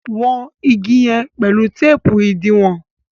wón ìgi yen pẹlu teepu idiwọn